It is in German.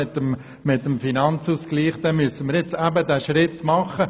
Angesichts dessen müssen wir diesen Schritt jetzt machen!